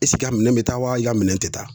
a minɛn be taa wa i ka minɛn te taa.